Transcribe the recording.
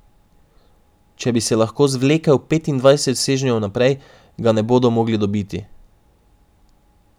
Če bi se lahko zvlekel petindvajset sežnjev naprej, ga ne bodo mogli dobiti.